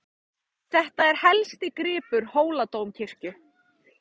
Þetta er helsti gripur Hóladómkirkju.